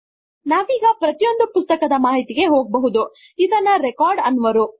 ನಾವೀಗ ಪ್ರತಿಯೊಂದು ಪುಸ್ತಕದ ಮಾಹಿತಿಗೆ ಹೋಗಬಹುದು ಇದನ್ನು ರೆಕಾರ್ಡ್ ಅನ್ನುವರು